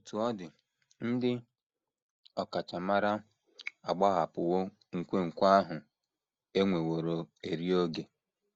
Otú ọ dị, ndị ọkachamara agbahapụwo nkwenkwe ahụ e nweworo eri oge.